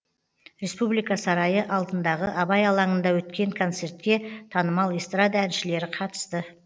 республика сарайы алдындағы абай алаңында өткен концертке танымал эстрада әншілері қатысты